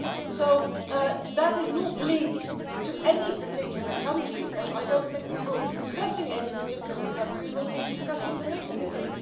So that is not linked to any particular country, and I don't think we will be discussing any particular country, we will be discussing the mechanism.